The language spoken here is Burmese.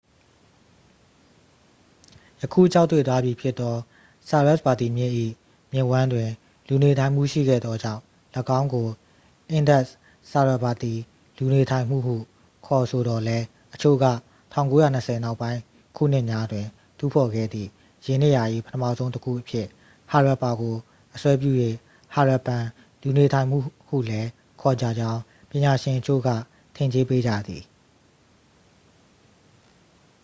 ယခုခြောက်သွေ့သွားပြီဖြစ်သော ဆာရက်စ်ဗာတီမြစ်၏ မြစ်ဝှမ်းတွင် လူနေထိုင်မှု ရှိခဲ့သောကြောင့် ၎င်းကို အင်ဒက်စ်-ဆာရက်စ်ဗာတီ လူနေထိုင်မှုဟုခေါ်ဆိုသော်လည်း အချို့က 1920 နောက်ပိုင်း ခုနှစ်များတွင် တူးဖော်ခဲ့သည့် ယင်းနေရာ၏ ပထမဆုံးတစ်ခုအဖြစ် ဟာရပ်ပါကို အစွဲပြု၍ ဟာရပ်ပန် လူနေထိုင်မှုဟုလည်း ခေါ်ကြကြောင်း ပညာရှင်အချို့က ထင်ကြေးပေးကြသည်